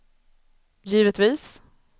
givetvis